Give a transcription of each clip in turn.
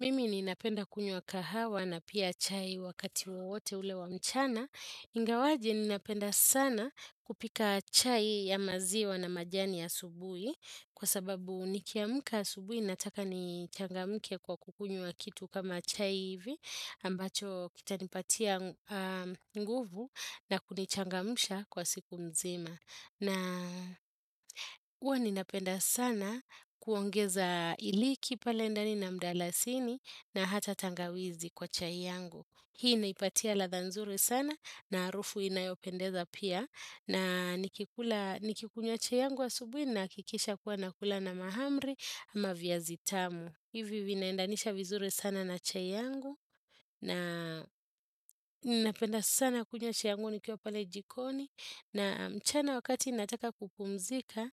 Mimi ninapenda kunywa kahawa na pia chai wakati wawote ulewa mchana. Ngawaje ninapenda sana kupika chai ya maziwa na majani asubui. Kwa sababu nikiamuka subui nataka nichangamke kwa kukunywa kitu kama chai hivi. Ambacho kitanipatia nguvu na kunichangamsha kwa siku mzima. Na uwa ninapenda sana kuongeza iliki palendani na mdalasini na hata tangawizi kwa chai yangu. Hii naipatia latha nzuri sana na arufu inayopendeza pia na nikikunywa chai yangu wa asubuhi na kikisha kuwa nakula na mahamri ama viazitamu. Hivi vinaendanisha vizure sana na chai yangu na ninapenda sana kunywa chai yangu nikiwa pale jikoni na mchana wakati nataka kupumzika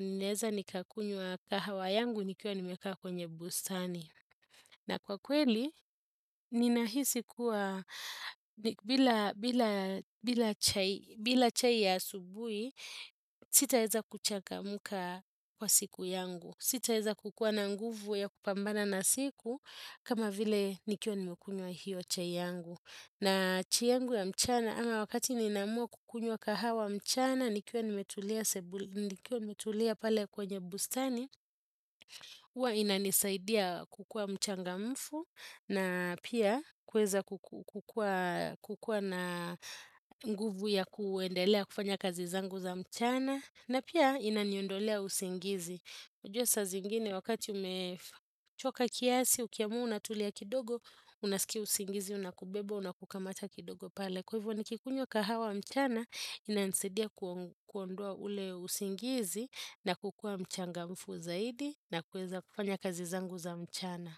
ninaeza nikakunyua kahawa yangu nikiwa nimekaa kwenye busani. Na kwa kweli, ninahisi kuwa, bila chai ya subui, sitaeza kuchaka muka kwa siku yangu. Sitaeza kukua na nguvu ya kupambana na siku, kama vile nikiwa nimekunywa hiyo chai yangu. Na chai yangu ya mchana, ama wakati ninamua kukunywa kahawa mchana, nikio nimetulia pale kwenye bustani, Uwa inanisaidia kukua mchangamfu na pia kuweza kukua na nguvu ya kuendelea kufanya kazi zangu za mchana na pia inaniondolea usingizi. Ujua sa zingine wakati umechoka kiasi, ukiamua unatulia kidogo, unasiki usingizi, unakubeba, unakukamata kidogo pale. Kwa hivyo ni kikunywa kahawa mchana, inansedia kuondoa ule usingizi na kukua mchanga mfu zaidi na kueza kufanya kazi zangu za mchana.